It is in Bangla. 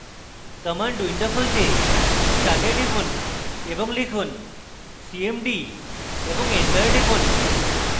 command window খুলতে start এ টিপুন এবং লিখুন cmd এবং enter টিপুন